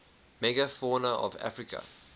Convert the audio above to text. megafauna of africa